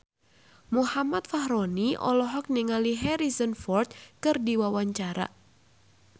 Muhammad Fachroni olohok ningali Harrison Ford keur diwawancara